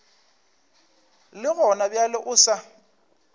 le gona bjale o sa